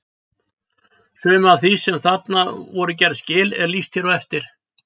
Sumu af því sem þar voru gerð skil er lýst hér á eftir.